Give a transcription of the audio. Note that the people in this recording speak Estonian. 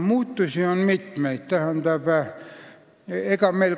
Muutusi on mitmeid.